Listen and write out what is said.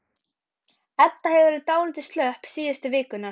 Edda hefur verið dálítið slöpp síðustu vikurnar.